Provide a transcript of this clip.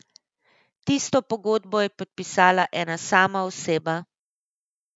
Tisto pogodbo je podpisala ena sama oseba.